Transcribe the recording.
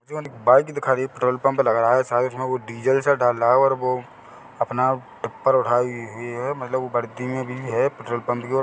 bike दिखाई petrol pump लग रहा है शायद उसमें डीजल से डाल रहा है और वो अपना पत्थर उठाए हुए हैं मतलब बढ़ते हुए पेट्रोल पंप पिए--